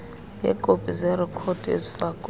yeekopi zerekhodi ezifakwe